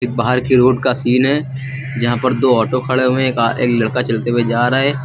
बाहर की रोड का सीन है जहां पर दो ऑटो खड़े हुए का एक लड़का चलते हुए जा रहा है।